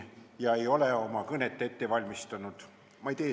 Ma ei ole oma kõnet ette valmistanud.